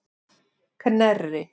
Knerri